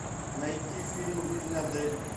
найти фильм жизнь адель